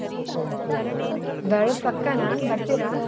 ಹಾ, ಬರೋದ್ ಪಕ್ಕಾನ ಬರ್ತೀರಾ?